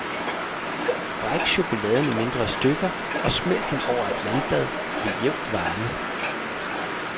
Bræk chokoladen i mindre stykker og smelt den over et vandbad ved jævn varme.